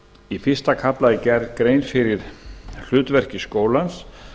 í fyrsta kafla er gerð grein fyrir hlutverki skólans